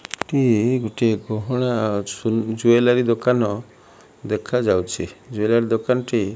ଟି ଗୋଟିଏ ଗହଣା ଜୁଏଲାରୀ ଦୋକାନ ଦେଖାଯାଉଛି ଜୁଏଲାରୀ ଦୋକାନ ଟି --